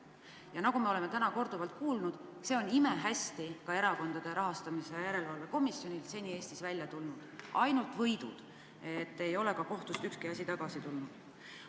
Ja nagu me oleme täna korduvalt kuulnud, see on imehästi ka Erakondade Rahastamise Järelevalve Komisjonil seni välja tulnud: ainult kohtuvõidud, ei ole kohtust ükski asi tagasi tulnud.